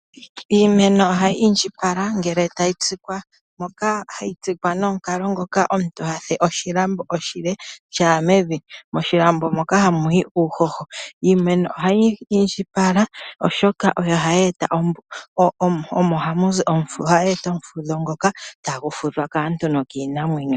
Iimeno ohayi indjipala ngele tayi tsikwa. Ohayi tsikwa nomukalo ngoka omuntu ha fulu oshilambo oshile sha ya mevi, moshilambo moka ohamu yi uuhoho. Iimeno ohayi indjipala, oshoka oyo hayi gandja ombepo ndjoka hayi fudhilwa mo kaantu nokiinamwenyo.